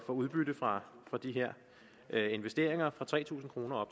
udbytte fra de her her investeringer fra tre tusind kroner